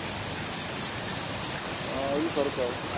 ਇਹੀ ਹੈ sir